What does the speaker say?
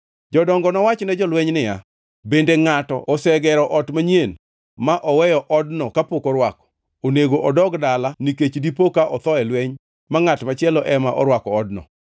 Jodongo nowach ne jolweny niya, “Bende ngʼato osegero ot manyien ma oweyo odno kapok orwako? Onego odog dala nikech dipo ka otho e lweny ma ngʼat machielo ema orwako odno.